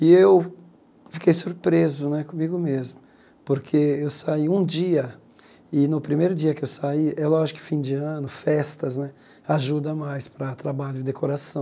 E eu fiquei surpreso né comigo mesmo, porque eu saí um dia, e no primeiro dia que eu saí, é lógico que fim de ano, festas né, ajuda mais para trabalho e decoração.